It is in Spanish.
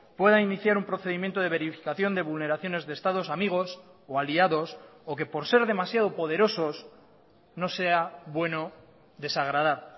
pueda iniciar un procedimiento de verificación de vulneraciones de estados amigos o aliados o que por ser demasiado poderosos no sea bueno desagradar